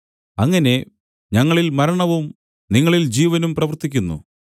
അങ്ങനെ ഞങ്ങളിൽ മരണവും നിങ്ങളിൽ ജീവനും പ്രവർത്തിക്കുന്നു